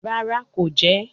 Rara, ko jẹ ẹ